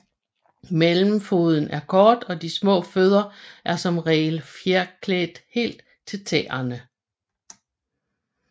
Mellemfoden er kort og de små fødder er som regel fjerklædt helt til tæerne